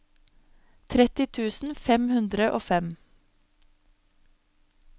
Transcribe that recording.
tretti tusen fem hundre og fem